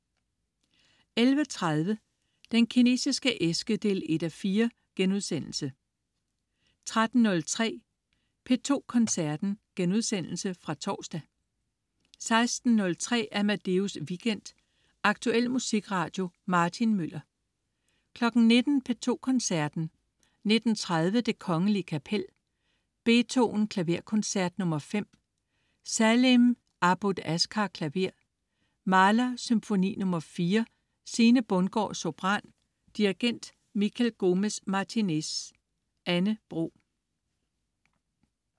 11.30 Den Kinesiske æske 1:4* 13.03 P2 Koncerten.* Genudsendelse fra torsdag 16.03 Amadeus weekend. Aktuel musikradio. Martin Møller 19.00 P2 Koncerten. 19.30: Det Kgl. Kapel. Beethoven: Klaverkoncert nr. 5. Saleem Abboud Ashkar, klaver. Mahler: Symfoni nr. 4. Sine Bundgaard, sopran. Dirigent: Miquel Gomez-Martinez. Anne Bro